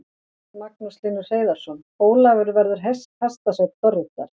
Magnús Hlynur Hreiðarsson: Ólafur verður hestasveinn Dorritar?